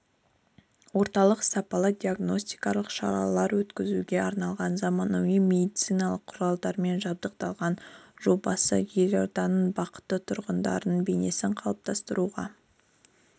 орталық сапалы диагностикалық шаралар өткізуге арналған заманауи медициналық құралдармен жабдықталған жобасы елорданың бақытты тұрғынының бейнесін қалыптастыруға